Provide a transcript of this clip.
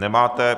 Nemáte.